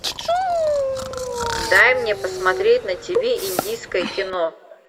дай мне посмотреть на тв индийское кино